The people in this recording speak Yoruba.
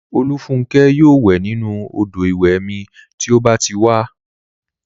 Olúfúnkẹ́ yóò wẹ̀ nínu odò ìwẹ̀ mi tí ó bá ti wá